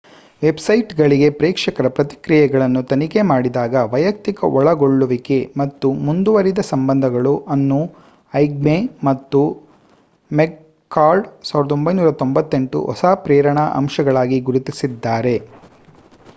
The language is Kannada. ವೆಬ್‌ಸೈಟ್‌ಗಳಿಗೆ ಪ್ರೇಕ್ಷಕರ ಪ್ರತಿಕ್ರಿಯೆಗಳನ್ನು ತನಿಖೆ ಮಾಡಿದಾಗ ವೈಯಕ್ತಿಕ ಒಳಗೊಳ್ಳುವಿಕೆ ಮತ್ತು ಮುಂದುವರಿದ ಸಂಬಂಧಗಳು ಅನ್ನು ಐಗ್ಮೆ ಮತ್ತು ಮೆಕ್‌ಕಾರ್ಡ್ 1998 ಹೊಸ ಪ್ರೇರಣಾ ಅಂಶಗಳಾಗಿ ಗುರುತಿಸಿದ್ದಾರೆ